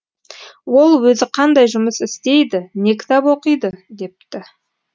ол өзі қандай жұмыс істейді не кітап оқиды депті